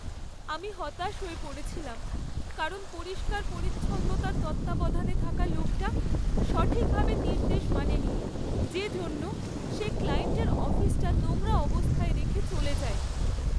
আমি হতাশ হয়ে পড়েছিলাম কারণ পরিষ্কার পরিচ্ছন্নতার তত্ত্বাবধানে থাকা লোকটা সঠিকভাবে নির্দেশ মানেনি যে জন্য সে ক্লায়েন্টের অফিসটা নোংরা অবস্থায় রেখে চলে যায়।